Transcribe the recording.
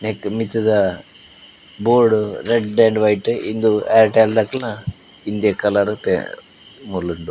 ನೆಕ್ಕ್ ಮಿತ್ತುದ board red and white ಇಂದ್ ಏರ್ಟೆಲ್ ದಕಲ್ನ ಇಂದೇ ಕಲರ್ ಮೂಲುಂಡು.